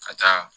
Ka taa